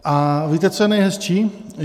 A víte, co je nejhezčí?